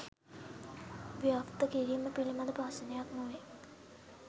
"ව්‍යාප්ත" කිරීම පිලිබඳ ප්‍රශ්නයක් නොවේ.